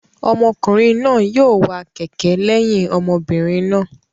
Ọmọkùnrin náà yóò wa kẹ̀kẹ́ lẹ́yìn ọmọbìnrin náà.